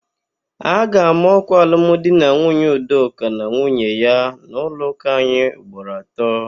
A ga-ama ọ́kwà alumdinanwunye Udoka na nwunye ya n'ụlọụka anyị ugboro atọ.